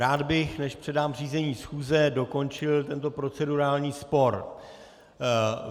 Rád bych, než předám řízení schůze, dokončil tento procedurální spor.